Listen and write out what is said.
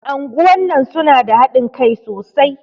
Anguwan nan su na da haɗin Kai sosai.